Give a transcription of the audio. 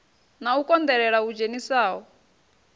na u konḓelela hu dzhenisaho